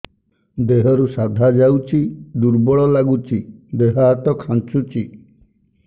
ଦେହରୁ ସାଧା ଯାଉଚି ଦୁର୍ବଳ ଲାଗୁଚି ଦେହ ହାତ ଖାନ୍ଚୁଚି